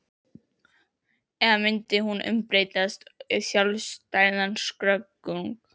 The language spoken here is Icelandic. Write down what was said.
Eða myndi hún umbreytast í sjálfstæðan skörung?